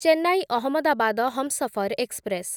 Chennai Ahmedabad Humsafar express